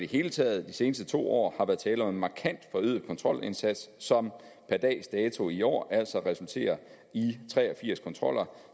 hele taget de seneste to år har været tale om en markant forøget kontrolindsats som per dags dato i år altså har resulteret i tre og firs kontroller